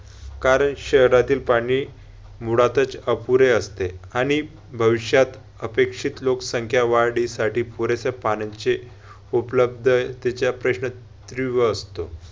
कारण शहरातील पाणी मुळातच अपुरे असते, आणि भविष्यात अपेक्षित लोकसंख्या वाढीसाठी पुरेसे पाण्याचे उपलब्ध